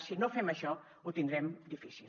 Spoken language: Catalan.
si no fem això ho tindrem difícil